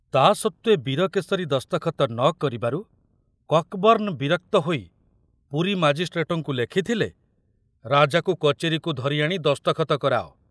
ତା ସତ୍ତ୍ବେ ବୀରକେଶରୀ ଦସ୍ତଖତ ନ କରିବାରୁ କକବର୍ଣ୍ଣ ବିରକ୍ତ ହୋଇ ପୁରୀ ମାଜିଷ୍ଟ୍ରେଟଙ୍କୁ ଲେଖିଥିଲେ, ରାଜାକୁ କଚେରୀକୁ ଧରି ଆଣି ଦସ୍ତଖତ କରାଅ।